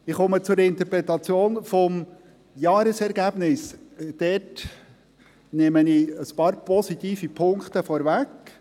Ich komme zur Interpretation des Jahresergebnisses, und dort nehme ich ein paar positive Punkte vorweg.